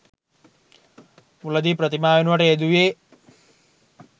මුලදී ප්‍රතිමා වෙනුවට යෙදුයේ